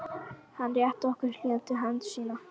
Hann rétti okkur hlýja hönd sína.